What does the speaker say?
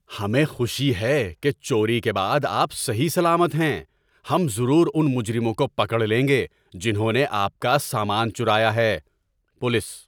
ہمیں خوشی ہے کہ چوری کے بعد آپ صحیح سلامت ہیں۔ ہم ضرور ان مجرموں کو پکڑ لیں گے جنہوں نے آپ کا سامان چرایا ہے۔ (پولیس)